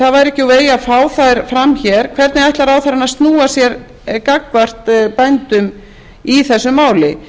það væri ekki úr vegi að fá þær fram hér hvernig ætlar ráðherrann að snúa sér gagnvart bændum í þessu máli